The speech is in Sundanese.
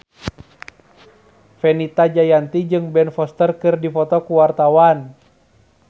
Fenita Jayanti jeung Ben Foster keur dipoto ku wartawan